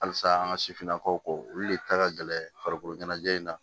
Halisa an ka sifinnakaw kɔ olu le ta ka gɛlɛn farikolo ɲanajɛ in na